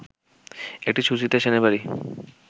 এটি সুচিত্রা সেনের বাড়ি